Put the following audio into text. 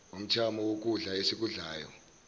umthamo wokudla esikudlayo